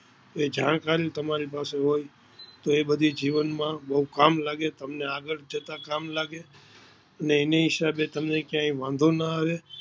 એ જાણકારી તમારી પાસે હોય તો એ બધી જીવન માં બોવ કામ લાગે તમને આગડ જતાં કામ લાગે એને હિસાબે તમને ક્યાંય વાંધો ના આવે